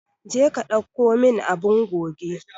Je ka dauko min abun goge.